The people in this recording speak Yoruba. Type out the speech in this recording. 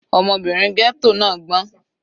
Ọmọbìnrin ghetto náà gbọ́n.